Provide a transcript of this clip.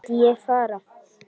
Vildi ég fara?